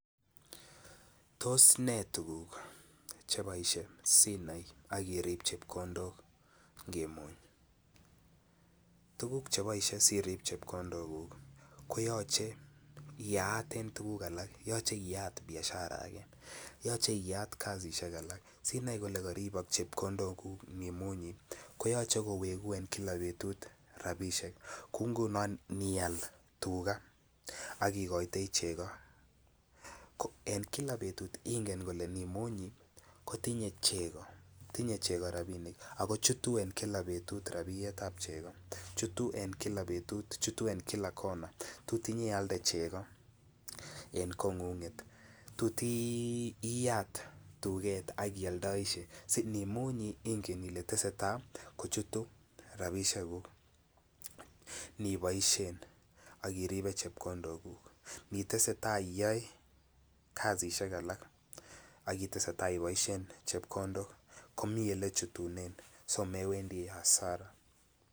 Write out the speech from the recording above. Tos nee tuguk cheboishe sinai akirip chebkondok ngimuny, tuguk cheboishe sirib chebkondoguk koyoche iyaaten tuguk alak, yoche iyat biashara age, yoche iyat kasisiek alak sinai kole koribok chebkondoguk inimunyi koyoche kowegu en kila betut rabishiek, kou ingunon inial tuga ak igoitoi chego, ko en kila betut ko ingen kole inimunyi ko tinye chego rabinik ako chutu en kila betut rabinik ab chego, chutu en kila betut, chutu en kila kona, tot inyealde chego en kongung'et, tot iyat tuget ak iyoldoisie, si inimunyi ingen ile tesetai kochutu rabisiekuk iniboisien akiripe chebkondoguk, initesetai iyoe kasisiek alak ak itesetai iboisien chebkondok komi olechutunen so mewendi hasara.